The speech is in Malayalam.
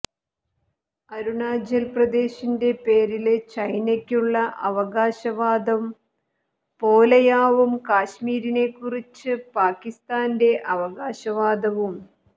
അരുണാചല് പ്രദേശിന്റെ പേരില് ചൈനക്കുള്ള അവകാശവാദം പോലെയാവും കശ്മീരിനെക്കുറിച്ച പാകിസ്താന്റെ അവകാശവാദവും